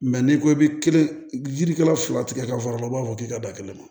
n'i ko i bi kelen yirikala fila tigɛ ka fara u b'a fɔ k'i ka da kelen na